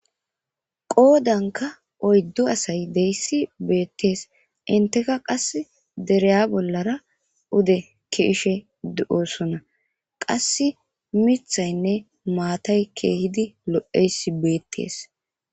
qoodanka oyddu asay deyssi beettees inteka qas dereya bollara ude kiishe de7oosona qass mithaynne maatay keehidi lo7eysi beettees